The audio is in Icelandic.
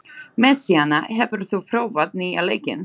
Messíana, hefur þú prófað nýja leikinn?